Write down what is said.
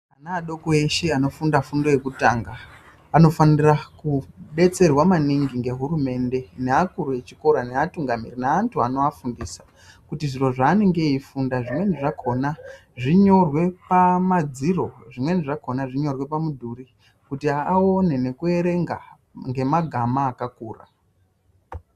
Ana adoko eshe anofunda fundo yekutanga anofanira kubetserwa maningi ngehurumende neakuru echikora neatungamiriri naantu vanovafundisa. Kuti zviro zvanenge eifunda zvimweni zvakona zvinyorwe pamadziro zvimweni zvakona zvinyorwe pamudhuri kuti aone nekuverenga ngemagama akakura.